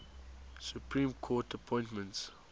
supreme court appointments